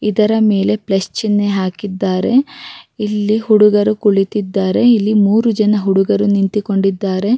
ಒಂದು ಫಂಕ್ಷನ್ ಫಂಕ್ಷನಿಗೆ ಗ್ರಾಂಡ್ ಆಗಿ ರೆಡಿ ಮಾಡಿದ್ದಾರೆ.